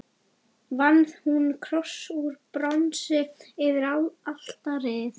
Vann hún kross úr bronsi yfir altarið.